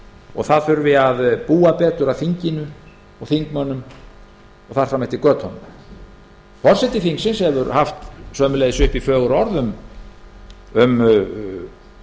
og búa betur að þinginu og þingmönnum og þar fram eftir götunum forseti þingsins hefur einnig haft uppi fögur orð um